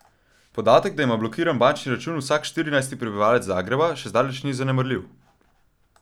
Podatek, da ima blokiran bančni račun vsak štirinajsti prebivalec Zagreba, še zdaleč ni zanemarljiv.